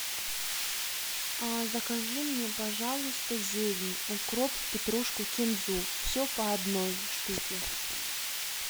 закажи мне пожалуйста зелень укроп петрушку кинзу все по одной штуке